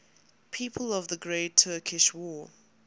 people of the great turkish war